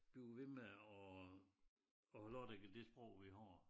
Blive ved med at have lov at tale det sprog vi har